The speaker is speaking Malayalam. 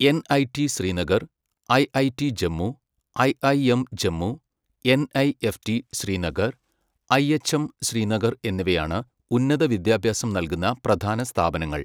NIT Srinagar, IIT Jammu, IIM Jammu, NIFT Srinagar, IHM Srinagar എന്നിവയാണ് ഉന്നത വിദ്യാഭ്യാസം നൽകുന്ന പ്രധാന സ്ഥാപനങ്ങൾ.